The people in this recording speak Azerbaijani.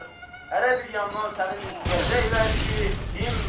hərə bir yandan səni mizləyəcəklər ki, dinmə!